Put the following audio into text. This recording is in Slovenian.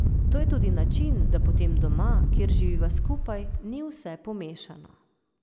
To je tudi način, da potem doma, kjer živiva skupaj, ni vse pomešano.